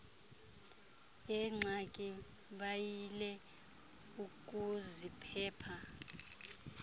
yeengxaki bayile ukuziphepha